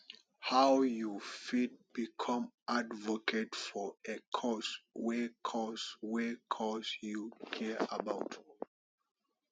how you fit become advocate for a cause wey cause wey you care about